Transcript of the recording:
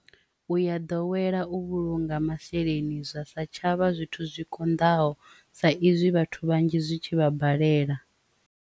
U ya ḓowela u vhulunga masheleni zwa sa tshavha zwithu zwi konḓaho sa izwi vhathu vhanzhi zwi tshi vha balelwa.